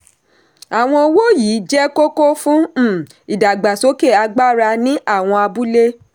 àwọn owó yìí jẹ́ kókó fún um ìdàgbàsókè agbára ní àwọn abúlé.